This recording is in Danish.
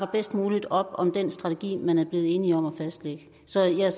bedst muligt op om den strategi man er blevet enige om at fastlægge så jeg er